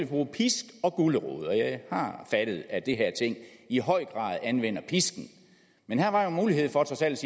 bruge pisk og gulerod og jeg har fattet at det her ting i høj grad anvender pisken men her var jo mulighed for trods alt